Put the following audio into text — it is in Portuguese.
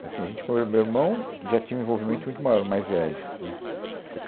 Assim, a gente foi, o meu irmão, que já tinha um envolvimento muito maior, o mais velho, né. Até